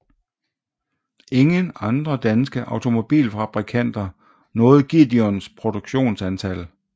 Ingen andre danske automobilfabrikanter nåede Gideons produktionstal